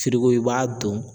i b'a don